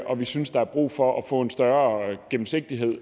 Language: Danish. og vi synes der er brug for at få en større gennemsigtighed